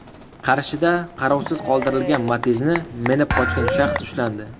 Qarshida qarovsiz qoldirilgan Matiz’ni minib qochgan shaxs ushlandi.